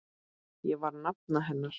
Ég var nafna hennar.